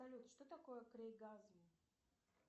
салют что такое крейгазм